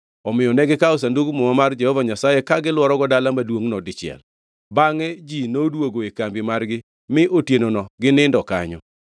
Omiyo negikawo Sandug Muma mar Jehova Nyasaye ka gilworogo dala maduongʼno dichiel. Bangʼe ji noduogo e kambi margi mi otienono ginindo kanyo.